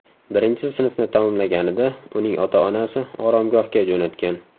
Birinchi sinfni tamomlaganida uning ota-onasi oromgohga jo‘natgan.